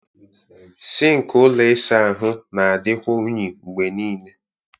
Sink ụlọ ịsa ahụ na-adịkwa unyi mgbe niile